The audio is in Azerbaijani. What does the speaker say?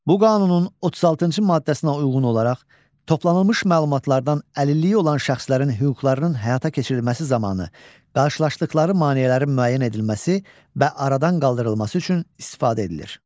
Bu qanunun 36-cı maddəsinə uyğun olaraq, toplanılmış məlumatlardan əlilliyi olan şəxslərin hüquqlarının həyata keçirilməsi zamanı qarşılaşdıqları maneələrin müəyyən edilməsi və aradan qaldırılması üçün istifadə edilir.